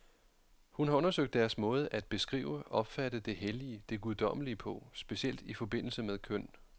Hun har undersøgt deres måde at beskrive, opfatte det hellige, det guddommelige på, specielt i forbindelse med køn.